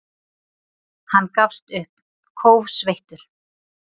Hann gafst upp, kófsveittur.